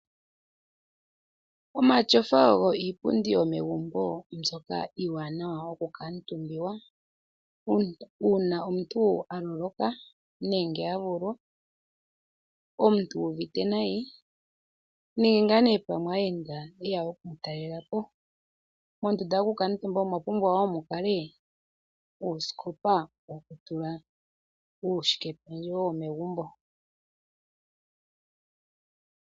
Omatyofa ogo iipundi yomegumbo mbyoka iiwanawa yoku kamutumbwa uuna omuntu aloloka nenge avulwa, omuntu uuvite nayi nenge nee pamwe aayenda yeya okumutalelapo. Mondunda yokukatumba omwapumbwa wo mukale uusikopa wokutula uushike pedjewo womegumbo.